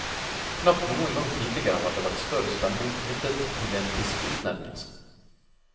Knapt noen gang tidligere har det vært større spenning knyttet til en bispeutnevnelse.